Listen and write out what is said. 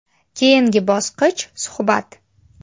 Keyingi bosqich suhbat.